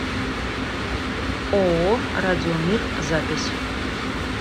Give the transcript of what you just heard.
ооо радиомир запись